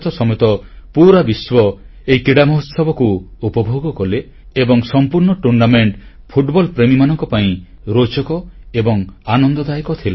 ଭାରତ ସମେତ ପୁରା ବିଶ୍ୱ ଏହି କ୍ରୀଡ଼ା ମହୋତ୍ସବକୁ ଉପଭୋଗ କଲେ ଏବଂ ସମ୍ପୂର୍ଣ୍ଣ ଟୁର୍ଣ୍ଣାମେଣ୍ଟ ଫୁଟବଲ ପ୍ରେମୀମାନଙ୍କ ପାଇଁ ରୋଚକ ଏବଂ ଆନନ୍ଦଦାୟକ ଥିଲା